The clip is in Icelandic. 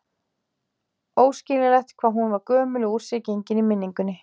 Óskiljanlegt hvað hún var gömul og úr sér gengin í minningunni.